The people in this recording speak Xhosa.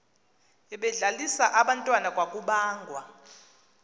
ebedlalisa abantwana kwakubangwa